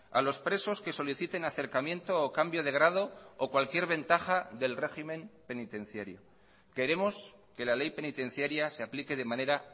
a los presos que soliciten acercamiento o cambio de grado o cualquier ventaja del régimen penitenciario queremos que la ley penitenciaria se aplique de manera